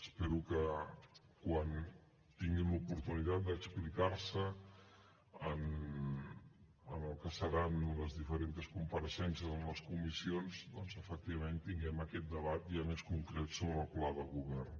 espero que quan tinguin l’oportunitat d’explicar se en el que seran les diferents compareixences en les comissions doncs efectivament tinguem aquest debat ja més concret sobre el pla de govern